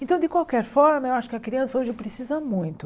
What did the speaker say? Então, de qualquer forma, eu acho que a criança hoje precisa muito.